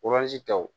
taw